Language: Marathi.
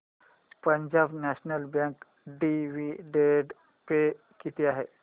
Punjab national bank dividend pay किती आहे